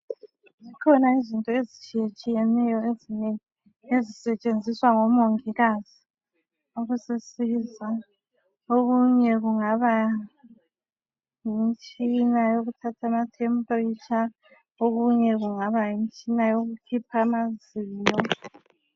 Zikhona izinto ezitshiyetshiyeneyo ezinengi ezisetshenziswa ngomongikazi ukusisiza. Okunye kungaba yimtshina yokuthatha ama"temperature",okunye kungaba yimtshina yokukhipha amazinyo.